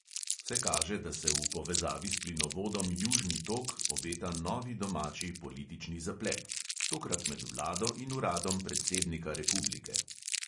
Vse kaže, da se v povezavi s plinovodom južni tok obeta novi domači politični zaplet – tokrat med vlado in uradom predsednika republike.